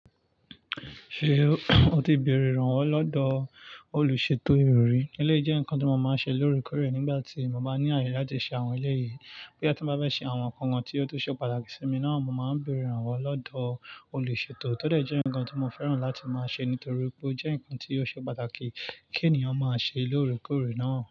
Ṣé o ti béèrè ìrànwọ́ lọ́dọ̀ olùṣètò ìrọ̀rí? Ilé jẹ́ nǹkan tó máa ń ṣe lóòrèkóòrè nígbà tí mo bá ní àyè láti ṣe àwọn ilé yìí. Bí a bá fẹ́ ṣe àwọn nǹkan wọ́n tí ó tó ṣe pàtàkì sí mi náà, mo máa ń bèèrè ìrànwọ́ lọ́dọ̀ olùṣètò. Ó dẹ̀ jẹ́ ǹkan tí mo fẹ́ràn láti máa ṣe nítorí pé ó jẹ́ ǹkan tí ó ṣe pàtàkì kí ènìyàn máa ṣe lóòrèkóòrè náà.